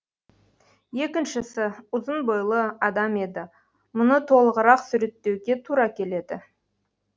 екіншісі ұзын бойлы адам еді мұны толығырақ суреттеуге тура келеді